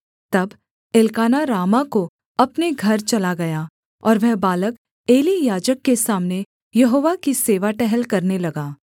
तब Elkanah Ramah को अपने घर चला गया और वह बालक एली याजक के सामने यहोवा की सेवा टहल करने लगा